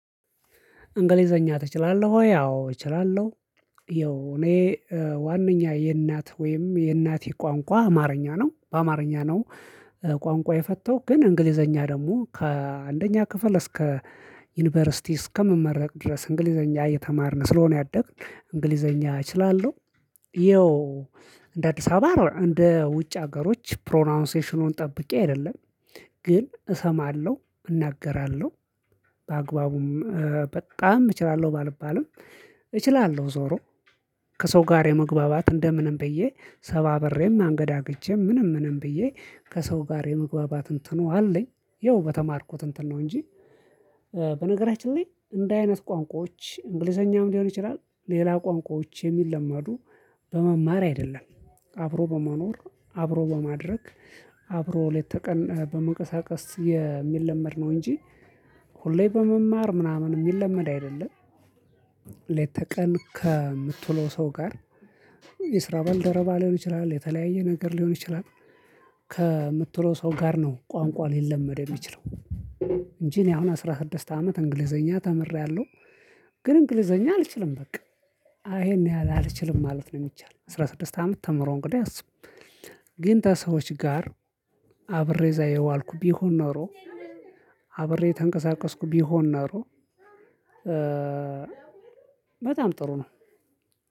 እንግሊዘኛ ትችላለህ ወይ? አዎ እችላለሁ። ያው እኔ ዋናኛ የእናት ወይም የእናቴ ቋንቋ አማርኛ ነው በአማርኛ ነው። ቋንቋ የፈተውት ግን እንግሊዘኛ ደግሞ ከአንደኛ ክፍል እስከ ዩኒቨርሲቲ እስከምመረቅ ድረስ እንግሊዘኛ እየተማርን ስለሆነ ያደግን እንግሊዘኛ እችላለሁ። ይኸው እንደ አዲስ አበባ እንደ ውጭ ሀገሮች ፕሮናውንሴሽኑን ጠብቄ አይደለም። ግን እሰማለሁ እናገራለሁ። በአግባቡም በጣም እችላለሁ ባልባልም እችላለሁ። ዞሮ ከሰው ጋር የመግባባት እንደምንም ብዬ ሰባብሬም አንገደግቼም ምንም ምንም ብዬ ከሰው ጋር የመግባባትን እንትኑ አለኝ። ያው በተማርኩ እንትን ነው እንጂ። በነገራችን ላይ እንደ አይነት ቋንቋዎች እንግሊዘኛው ሊሆን ይችላል ሌላ ቋንቋዎች የሚለማዱ በመማር አይደለም። አብሮ በመኖር አብሮ በማድረግ አብሮ ለተቀን በመንቀሳቀስ የሚለመድ ነው እንጂ። ሁሌ በመማር ምናምን የሚለመድ አይደለም። ለየ ቀን ከምትውለው ሰው ጋር የስራ በልደረባ ሊሆን ይችላል የተለያየ ነገር ሊሆን ይችላል። ከምትውለው ሰው ጋር ነው ቋንቋ ሊለመድ የሚችለው። እንጂ እኔ አሁን አስራ ስድስት አመት እንግሊዘኛ ተምሬያለሁ። ግን እንግሊዘኛ አልችልም በቃ ይሄን ያህል አልችልም ማለት ነው። የሚቻለው አስራ ስድስት አመት ተምሮ እንግዲህ አስብ። ግን ከሰዎች ጋር አብሬ እዚያ የዋልኩ ቢሆን ኖሮ። አብሬ የተንቀሳቀስኩ ቢሆን ኖሮ። በጣም ጥሩ ነው።